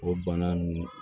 O bana nunnu